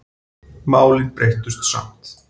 Málin breyttust samt.